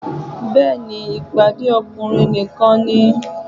Bẹ́ẹ̀ni, ìpàdé ọkùnrin nìkan ni